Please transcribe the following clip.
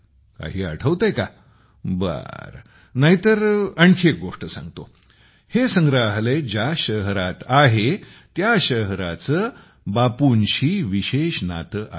काही आठवतंय काबरं नाही तर आणखी एक गोष्ट सांगतोहे संग्रहालय ज्या शहरात आहे त्या शहराचे बापूंशी विशेष नाते आहे